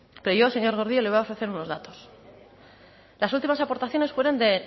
pero yo señor gordillo le voy a ofrecer unos datos las últimas aportaciones fueron de